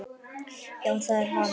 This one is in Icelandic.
Já, það er hann.